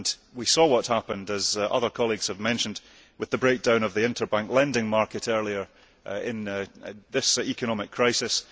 We saw what happened as other colleagues have mentioned with the breakdown of the interbank lending market earlier in this economic crisis.